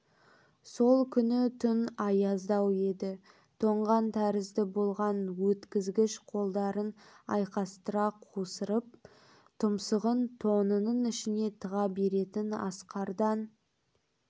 сол күні түн аяздау еді тоңған тәрізді болған өткізгіш қолдарын айқастыра қусырып тұмсығын тонының ішіне тыға бетін асқардан